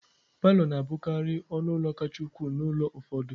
Palọ na-abụkarị ọnụ ụlọ kacha ukwuu n'ụlọ ụfọdụ